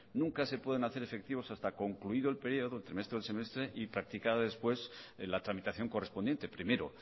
nunca se pueden hacer efectivos hasta concluido el periodo el trimestre o el semestre y practicada después en la tramitación correspondiente primero